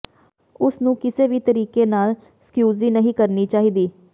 ਉਸਨੂੰ ਕਿਸੇ ਵੀ ਤਰੀਕੇ ਨਾਲ ਸਕਿਊਜ਼ੀ ਨਹੀਂ ਕਰਨੀ ਚਾਹੀਦੀ